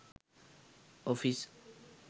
office